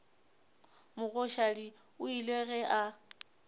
mogoshadi o ile ge a